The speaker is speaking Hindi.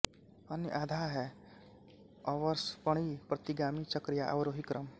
अन्य आधा है अवसर्पणी प्रतिगामी चक्र या अवरोही क्रम